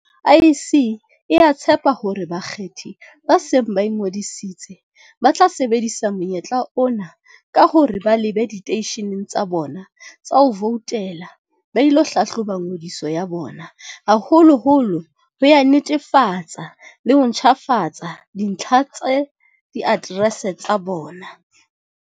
IEC e a tshepa hore bakgethi ba seng ba ingodisitse, ba tla sebedisa monyetla ona ka hore ba lebe diteisheneng tsa bona tsa ho voutela ba ilo hlahloba ngodiso ya bona, haholoholo ho ya netefatsa le ho ntjhafatsa dintlha tsa di aterese tsa bona.